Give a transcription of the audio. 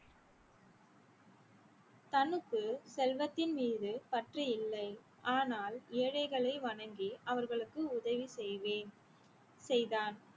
தனக்குள் செல்வத்தின் மீது பற்று இல்லை ஆனால் ஏழைகளை வணங்கி அவர்களுக்கு உதவி செய்வேன் செய்தான்